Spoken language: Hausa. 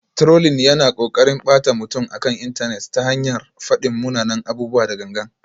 Trolling yana ƙoƙarin ɓata mutum akan intanet ta hanyar faɗin munanan abubuwa da gangan.